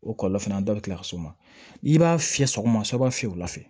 O kɔlɔlɔ fana dɔ bɛ kila ka s'o ma i b'a fiyɛ sɔgɔma i b'a fiyɛ wula fɛ